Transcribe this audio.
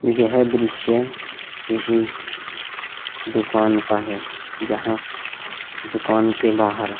यह दृश्य किसी दुकान का है जहां दुकान के बाहर --